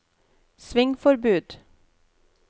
svingforbud